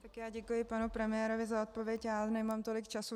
Tak já děkuji panu premiérovi za odpověď, ale nemám tolik času.